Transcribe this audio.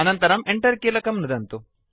अनन्तरं Enter कीलकं नुदन्तु